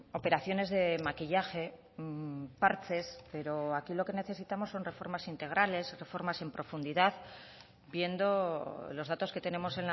operaciones de maquillaje parches pero aquí lo que necesitamos son reformas integrales reformas en profundidad viendo los datos que tenemos